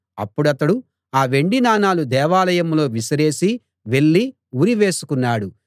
అప్పుడతడు ఆ వెండి నాణాలు దేవాలయంలో విసిరేసి వెళ్ళి ఉరి వేసుకున్నాడు